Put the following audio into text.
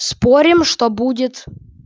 спорим что будет